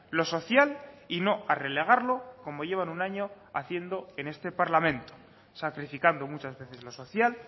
lo social y no a relegarlo como llevan un año haciendo en este parlamento sacrificando muchas veces lo social